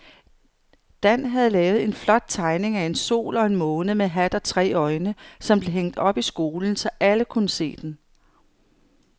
Dan havde lavet en flot tegning af en sol og en måne med hat og tre øjne, som blev hængt op i skolen, så alle kunne se den.